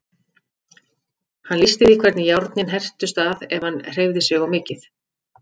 Hann lýsti því hvernig járnin hertust að ef hann hreyfði sig of mikið.